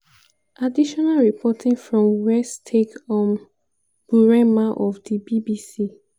additional reporting from wietske um burema of di bbc.